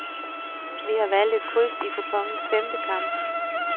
Vi har valgt et kryds i kuponens femte kamp.